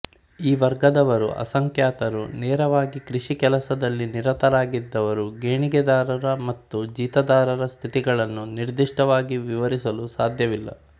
ಈ ವರ್ಗದವರು ಅಸಂಖ್ಯಾತರು ನೇರವಾಗಿ ಕೃಷಿ ಕೆಲಸದಲ್ಲಿ ನಿರತರಾಗಿದ್ದವರು ಗೇಣಿದಾರರ ಮತ್ತು ಜೀತಗಾರರ ಸ್ಥಿತಿಗತಿಗಳನ್ನು ನಿರ್ದಿಷ್ಟವಾಗಿ ವಿವರಿಸಲು ಸಾಧ್ಯವಿಲ್ಲ